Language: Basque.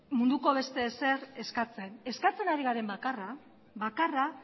munduko beste ezer eskatzen eskatzen ari garen bakarra